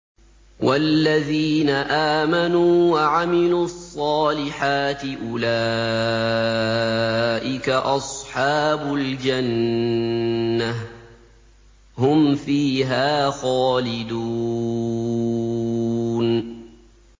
وَالَّذِينَ آمَنُوا وَعَمِلُوا الصَّالِحَاتِ أُولَٰئِكَ أَصْحَابُ الْجَنَّةِ ۖ هُمْ فِيهَا خَالِدُونَ